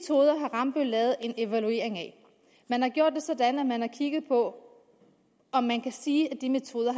rambøll lavet en evaluering af man har gjort det sådan at man har kigget på om man kan sige at de metoder